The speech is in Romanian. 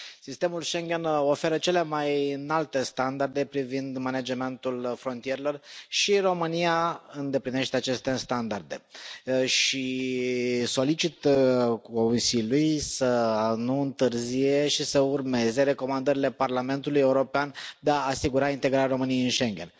Sistemul Schengen oferă cele mai înalte standarde privind managementul frontierelor și România îndeplinește aceste standarde și solicit Consiliului să nu întârzie și să urmeze recomandările Parlamentului European de a asigura integrarea României în Schengen.